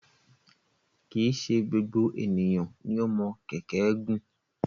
Kì í ṣe gbogbo ènìyàn ni o mọ kẹ̀kẹ́ gùn.